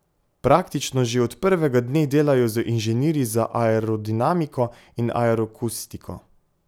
Praktično že od prvega dne delajo z inženirji za aerodinamiko in aeroakustiko.